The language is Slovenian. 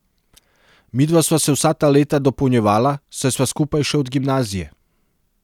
Midva sva se vsa ta leta dopolnjevala, saj sva skupaj še od gimnazije.